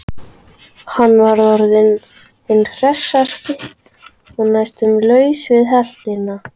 Hann var orðinn hinn hressasti og næstum laus við heltina.